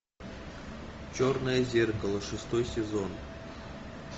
черное зеркало шестой сезон